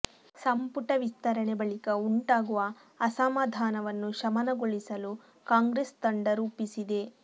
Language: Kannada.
ಸಂಪುಟ ವಿಸ್ತರಣೆ ಬಳಿಕ ಉಂಟಾಗುವ ಅಸಮಾಧಾನವನ್ನು ಶಮನಗೊಳಿಸಲು ಕಾಂಗ್ರೆಸ್ ತಂತ್ರ ರೂಪಿಸಿದೆ